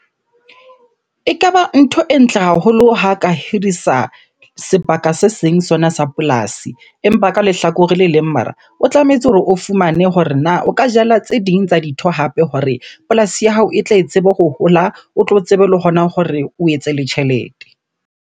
Ekaba ntho e ntle haholo ha ka hirisa sebaka se seng sona sa polasi. Empa ka lehlakoreng le leng mara, o tlametse hore o fumane hore na o ka jala tse ding tsa dintho hape hore polasi ya hao e tle e tsebe ho hola, o tlo tsebe le hona hore o etse le tjhelete.